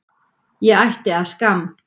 Ég ætti að skamm